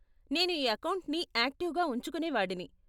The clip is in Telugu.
నేను ఈ అకౌంట్ని యాక్టివ్గా ఉంచుకునే వాడిని.